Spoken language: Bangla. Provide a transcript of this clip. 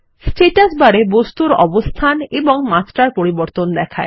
স্ট্যাটাস বার এ বস্তুর অবস্থান এবং মাত্রার পরিবর্তন দেখায়